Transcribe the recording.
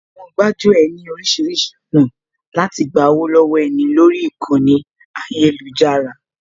Àwọn gbájú ẹ̀ ní oríṣiríṣi ọ̀nà láti gba owó lọ́wọ́ ẹni lórí ìkànnì ayélujára